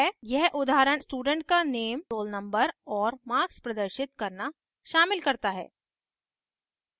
यह उदाहरण student का नेम roll नंबर और marks प्रदर्शित करना शामिल करता है